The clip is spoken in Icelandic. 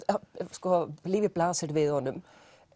sko lífið blasir við honum